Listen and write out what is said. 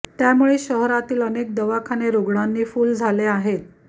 त्यामुळे शहरांतील अनेक दवाखाने रुग्णांनी फुल्ल झाले आहेत